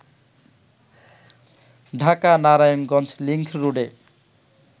Dhaka-Narayanganj link রোডে